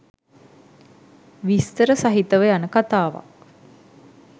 විස්තර සහිතව යන කතාවක්.